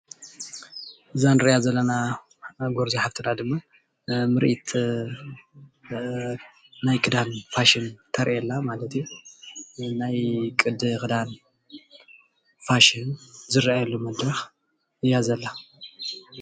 እዛ ንሪኣ ዘለና ጎርዞ ሓፍትና ድማ ምርኢት ናይ ክዳን ፋሽን ተርኢ ኣላ ማለት እዩ። ናይ ቅዲ ክዳን ፋሽን ዝርኣየሉ መድረኽ እያ ዘላ።